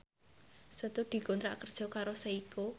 Setu dikontrak kerja karo Seiko